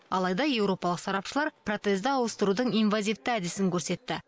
алайда еуропалық сарапшылар протезді ауыстырудың инвазивті әдісін көрсетті